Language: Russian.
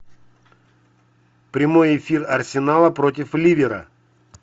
прямой эфир арсенала против ливера